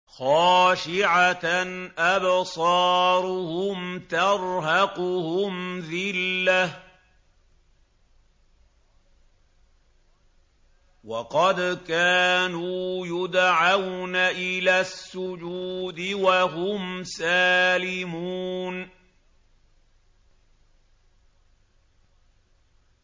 خَاشِعَةً أَبْصَارُهُمْ تَرْهَقُهُمْ ذِلَّةٌ ۖ وَقَدْ كَانُوا يُدْعَوْنَ إِلَى السُّجُودِ وَهُمْ سَالِمُونَ